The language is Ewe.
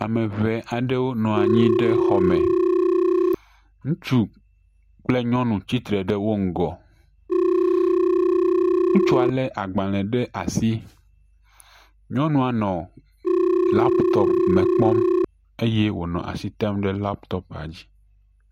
Ame ŋee aɖewo nɔ anyi ɖe xɔ me ŋutsu kple nyɔnu tsitre ɖe wo ŋgɔ, ŋutsua lé agbalẽ ɖe asi, nyɔnua nɔ laptop me kpɔm eye wò asi tem ɖe laptopa dzi.